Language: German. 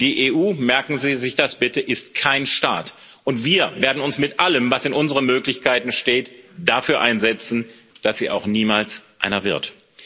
Die EU merken Sie sich das bitte ist kein Staat, und wir werden uns, mit allem, was in unseren Möglichkeiten steht, dafür einsetzen, dass sie auch niemals einer wird.